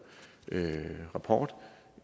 rapport